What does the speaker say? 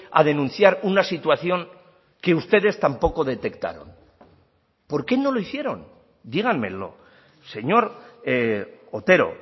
a denunciar una situación que ustedes tampoco detectaron por qué no lo hicieron díganmelo señor otero